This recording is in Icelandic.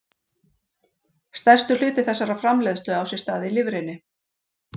Stærstur hluti þessarar framleiðslu á sér stað í lifrinni.